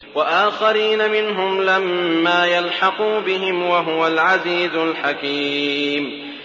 وَآخَرِينَ مِنْهُمْ لَمَّا يَلْحَقُوا بِهِمْ ۚ وَهُوَ الْعَزِيزُ الْحَكِيمُ